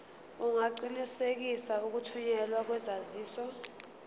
ungaqinisekisa ukuthunyelwa kwesaziso